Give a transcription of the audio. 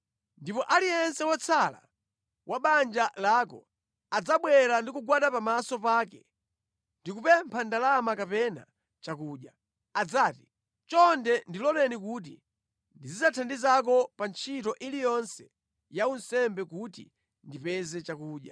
Ndipo aliyense wotsala wa banja lako adzabwera ndi kugwada pamaso pake kupempha ndalama kapena chakudya.’ Adzati, ‘Chonde ndiloleni kuti ndizithandizako pa ntchito iliyonse ya unsembe kuti ndipeze chakudya.’ ”